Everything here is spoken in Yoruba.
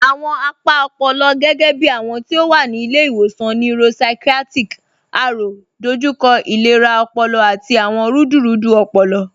Awọn apa ọ̀pọ̀lọ̀, gẹgẹ̀bí awọn ti o wa ni Ilẹ̀-iwọsan Neuropsychiatric, Aro, dọjúkọ ilẹ̀rà ọ̀pọ̀lọ̀ àti awọn rúdúrúdú ọ̀pọ̀lọ̀